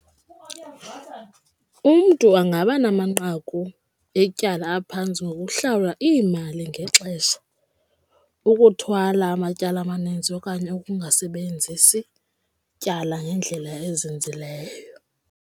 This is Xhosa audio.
Umntu angaba namanqaku etyala aphantsi ngokuhlawula iimali ngexesha, ukuthwala amatyala amaninzi okanye ukungasebenzisi tyala ngendlela ezinzileyo.